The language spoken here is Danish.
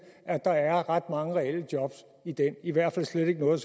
at der er ret mange reelle job i den og i hvert fald slet ikke noget